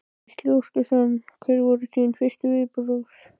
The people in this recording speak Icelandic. Gísli Óskarsson: Hver voru þín fyrstu viðbrögð?